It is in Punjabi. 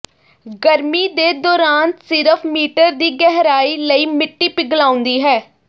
ਗਰਮੀ ਦੇ ਦੌਰਾਨ ਸਿਰਫ ਮੀਟਰ ਦੀ ਗਹਿਰਾਈ ਲਈ ਮਿੱਟੀ ਪਿਘਲਾਉਂਦੀ ਹੈ